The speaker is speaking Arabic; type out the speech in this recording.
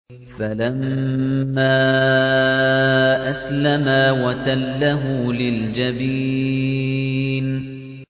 فَلَمَّا أَسْلَمَا وَتَلَّهُ لِلْجَبِينِ